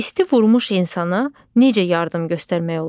İsti vurmuş insana necə yardım göstərmək olar?